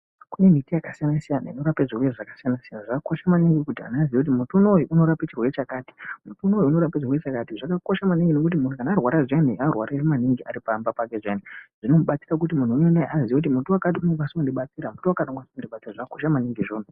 Kune miti yakasiyana siyana inorape zvitenda zvakasiyana siyana zvakakosha maningi kuti muntu azive kuti muti uyu unorape chirwere chakati zvakakosha kuti munhu arware maningi aripamba pake anoziya kuti muti wakati unokwanisa kundibatsira .